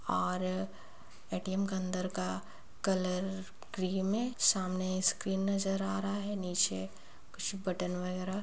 और ए_टी_एम के अंदर का कलर क्रीम है सामने स्क्रीन नजर आ रहा है नीचे कुछ बटन वगेरा--